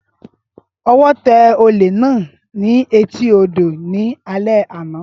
Ọwọ́ tẹ olè náà ní etí odò ní alẹ́ àná